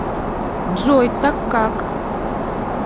джой так как